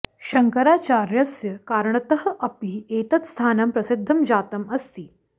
शङ्कराचार्यस्य कारणतः अपि एतत् स्थानं प्रसिद्धं जातम् अस्ति